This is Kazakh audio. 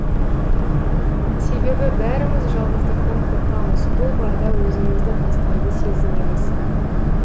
себебі бәріміз жалғыздықтан қорқамыз ол барда өзімізді тастанды сезінеміз